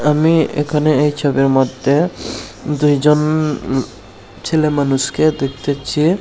আমি এখানে এই ছবির মধ্যে দুইজন ছেলে মানুষকে দেখতেছি।